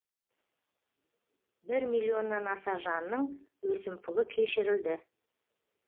бір миллионнан аса жанның өсімпұлы кешірілді